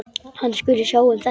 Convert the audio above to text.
Hann skuli sjá um þetta.